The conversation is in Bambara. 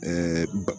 Ɛɛ